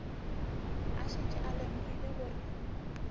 a šetše a lemogile gore